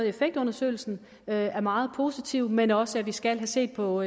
effektundersøgelsen er er meget positiv men også at vi skal have set på